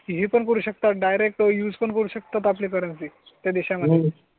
पण करू शकता. डाइरेक्ट यूज पण करू शकतात. आपले करन्सी त्या देशा मध्ये.